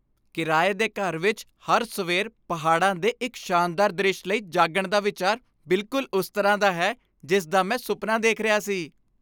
ਕਿਰਾਏ ਦੇ ਘਰ ਵਿੱਚ ਹਰ ਸਵੇਰ ਪਹਾੜਾਂ ਦੇ ਇੱਕ ਸ਼ਾਨਦਾਰ ਦ੍ਰਿਸ਼ ਲਈ ਜਾਗਣ ਦਾ ਵਿਚਾਰ ਬਿਲਕੁਲ ਉਸ ਤਰ੍ਹਾਂ ਦਾ ਹੀ ਹੈ ਜਿਸ ਦਾ ਮੈਂ ਸੁਪਨਾ ਦੇਖ ਰਿਹਾ ਸੀ।